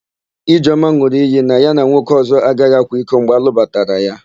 Ijeọma n̄ụrụ iyi na ya na nwoke ọ̀zọ́ agaghị akwa iko mgbe a lụbatara ya.